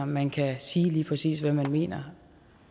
man kan sige lige præcis hvad man mener